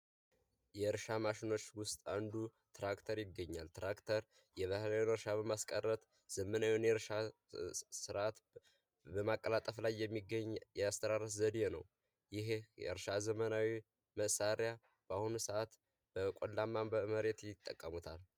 የእርሻ ማሽኖች ውስጥ አንዱ ትራክተር ይገኛል። ትራክተር የባህላዊ እርሻ በማስቀረት ዘመናዊውን የእርሻ ስርዓት በማቀላጠፍ ላይ የሚገኝ የአስተራረስ ዘዴ ነው። ይሄ የእርሻ ዘመናዊ መሳሪያ በአሁኑ ሰዓት በቆላማ በመሬት ይጠቀሙታል።